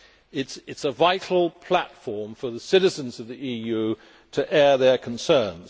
It is a vital platform for the citizens of the EU to air their concerns.